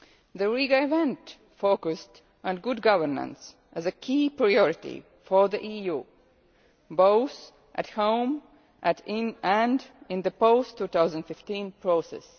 The Riga event focused on good governance as a key priority for the EU both at home and in the post 2015 process.